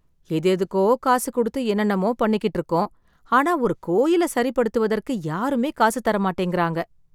எது எதுக்கோ காசு குடுத்து என்னென்னமோ பண்ணிக்கிட்டு இருக்கோம் ஆனா ஒரு கோயில சரிப் படுத்துவதற்கு யாருமே காசு தர மாட்டேங்குற